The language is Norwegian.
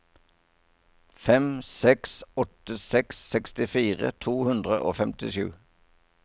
fem seks åtte seks sekstifire to hundre og femtisju